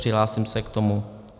Přihlásím se k tomu.